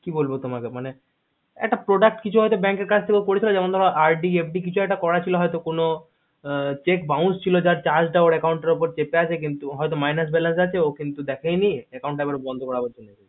কি বলবো তোমাকেমানে একটা product কিছু হয়তো bank কাজ থেকে করেছিল RD FD কিছু একটা করা ছিল হয়তো কোনো cheque bounce ছিল যার charge টা ওর account উপর cheque আছে কিন্তু হয়তো minus balance হয়তো আছে ও কিন্তু দেখায়নি account টা এবার বন্ধ করাতে এসেছে